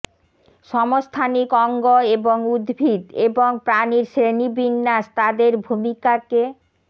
সমস্থানিক অঙ্গ এবং উদ্ভিদ এবং প্রাণীর শ্রেণীবিন্যাস তাদের ভূমিকাকে